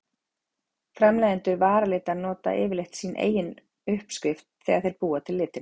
Framleiðendur varalita nota yfirleitt sína eigin uppskrift þegar þeir búa til litina.